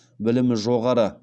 білімі жоғары